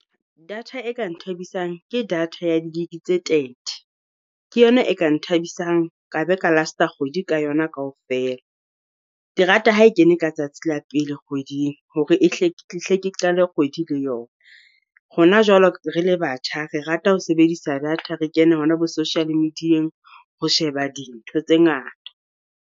Data e ka nthabisang, ke data ya di gig tse thirty. Ke yona e ka nthabisang ka be ka last kgwedi ka yona kaofela. Ke rata ha e kene ka tsatsi la pele kgweding hore ke hle ke qale kgwedi le yona. Rona jwalo re le batjha, re rata ho sebedisa data, re kene hona bo social medieng ho sheba dintho tse ngata.